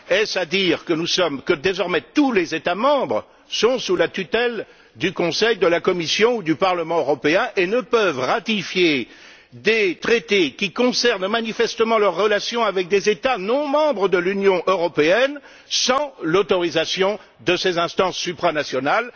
Est ce à dire que désormais tous les États membres sont sous la tutelle du Conseil, de la Commission ou du Parlement européen et ne peuvent ratifier des traités qui concernent manifestement leurs relations avec des États non membres de l'Union européenne sans l'autorisation de ces instances supranationales?